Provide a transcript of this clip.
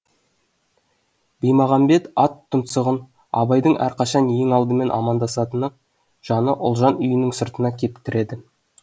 баймағамбет ат тұмсығын абайдың әрқашан ең алдымен амандасатыны жаны ұлжан үйінің сыртына кеп тіреді